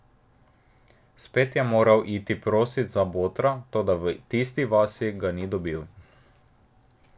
Spet je moral iti prosit za botra, toda v tisti vasi ga ni dobil.